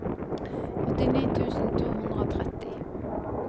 åttini tusen to hundre og tretti